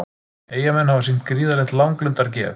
Eyjamenn hafa sýnt gríðarlegt langlundargeð